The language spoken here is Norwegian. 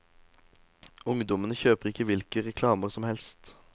Ungdommene kjøper ikke hvilke reklamer som helst.